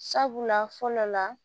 Sabula fɔlɔ la